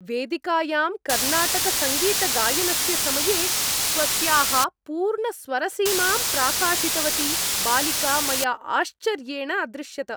वेदिकायां कर्नाटकसङ्गीतगायनस्य समये स्वस्याः पूर्णस्वरसीमां प्राकाशितवती बालिका मया आश्चर्येण अदृश्यत।